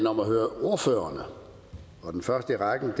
om at høre ordførererne den første i rækken er